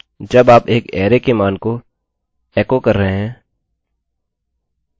जब आप एक अरैarray के मान को echo एको कर रहे हैं